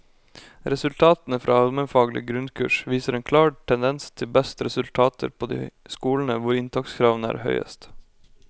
Resultatene fra almenfaglig grunnkurs viser en klar tendens til best resultater på de skolene hvor inntakskravene er høyest.